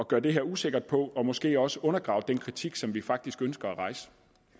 gøre det her usikkert på og måske også undergrave den kritik som vi faktisk ønsker at rejse